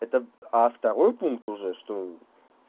это а второй пункт уже что